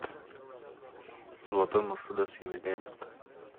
золотой мерседес емельяненко